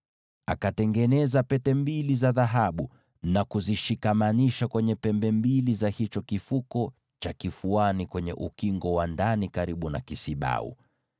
Akatengeneza pete mbili za dhahabu na kuzishikamanisha kwenye pembe mbili za chini, upande wa ndani wa kifuko cha kifuani karibu na kisibau.